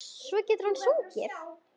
Svo getur hann sungið.